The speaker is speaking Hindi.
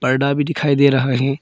पर्दा भी दिखाई दे रहा है।